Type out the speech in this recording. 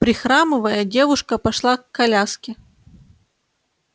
прихрамывая девушка пошла к коляске